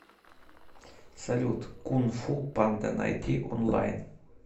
салют кун фу панда найти онлайн